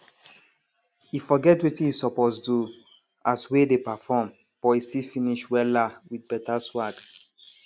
e forget wetin e suppose do as wey dey perform but e still finish wella with better swag